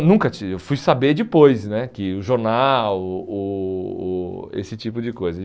Nunca Eu fui saber depois né, que o jornal, o o o esse tipo de coisa.